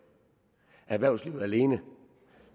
erhvervslivet alene